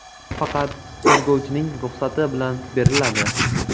Faqat tergovchining ruxsati bilan beriladi.